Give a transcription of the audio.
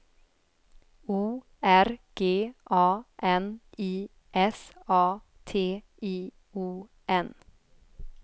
O R G A N I S A T I O N